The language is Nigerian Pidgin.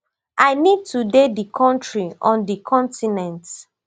i need to dey di kontri on di continent